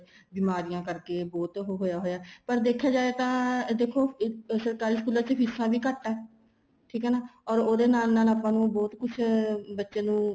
ਬਿਮਾਰੀਆਂ ਕਰਕੇ ਬਹੁਤ ਉਹ ਹੋਇਆ ਪਰ ਦੇਖਿਆ ਜਾਹੇ ਤਾਂ ਦੇਖੋ ਸਰਕਾਰੀ ਸਕੂਲਾਂ ਚ ਫੀਸਾ ਵੀ ਘੱਟ ਆ ਠੀਕ ਏ ਨਾ or ਉਹਦੇ ਨਾਲ ਨਾਲ ਆਪਾਂ ਨੂੰ ਬਹੁਤ ਕੁੱਛ ਬੱਚੇ ਨੂੰ